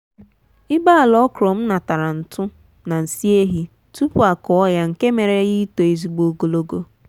ibe ala okra m natara ntụ na nsị ehi tupu akụọ ya nke mere ya ito ezigbo ogologo